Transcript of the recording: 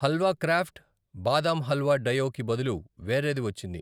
Halwa craft badam halwa డయో కి బదులు వేరేది వచ్చింది.